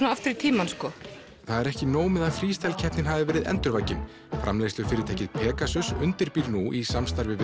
aftur í tímann það er ekki nóg með að freestyle keppnin hafi verið endurvakin framleiðslufyrirtækið Pegasus undirbýr nú í samstarfi við